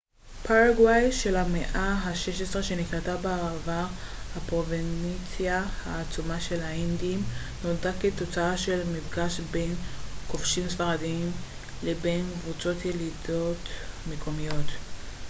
פרגוואי של המאה ה-16 שנקראה בעבר הפרובינציה העצומה של האינדים נולדה כתוצאה של מפגש בין כובשים ספרדיים לבין קבוצות ילידיות מקומיות